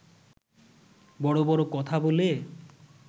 বড় বড় কথা বলে